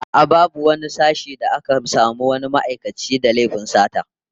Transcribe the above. A'a, babu wani sashen da aka samu wani ma'aikaci da laifin sata